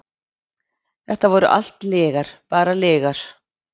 Þetta voru allt lygar, bara lygar.